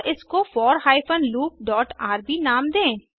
और इसको four hyphen loop dot rb नाम दें